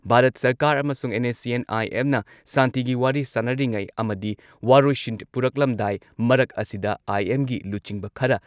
ꯚꯥꯔꯠ ꯁꯔꯀꯥꯔ ꯑꯃꯁꯨꯡ ꯑꯦꯟ.ꯑꯦꯁ.ꯁꯤ.ꯑꯦꯟ.ꯑꯥꯏ.ꯑꯦꯝꯅ ꯁꯥꯟꯇꯤꯒꯤ ꯋꯥꯔꯤ ꯁꯥꯟꯅꯔꯤꯉꯩ ꯑꯃꯗꯤ ꯋꯥꯔꯣꯏꯁꯤꯟ ꯄꯨꯔꯛꯂꯝꯗꯥꯏ ꯃꯔꯛ ꯑꯁꯤꯗ ꯑꯥꯏ.ꯑꯦꯝꯒꯤ ꯂꯨꯆꯤꯡꯕ ꯈꯔ